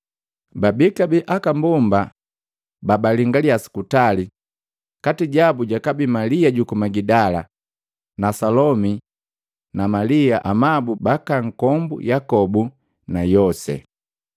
Babii kabee aka mbomba babalingalya sukutali, kati jabu jakabii Malia juku Magidala na Salomi na Malia amabu baka nkombu Yakobu na Yose.